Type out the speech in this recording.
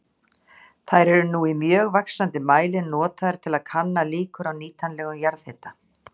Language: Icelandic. Þær eru nú í mjög vaxandi mæli notaðar til að kanna líkur á nýtanlegum jarðhita.